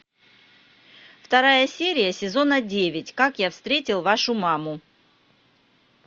вторая серия сезона девять как я встретил вашу маму